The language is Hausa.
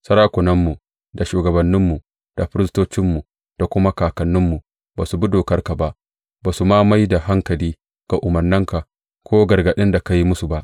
Sarakunanmu, da shugabanninmu, da firistocinmu da kuma kakanninmu ba su bi dokarka ba, ba su ma mai da hankali ga umarnanka ko gargaɗin da ka yi musu ba.